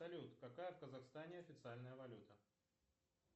салют какая в казахстане официальная валюта